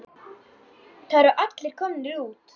Það eru allir komnir út.